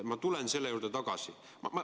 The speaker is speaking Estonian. Ma tulen selle juurde tagasi.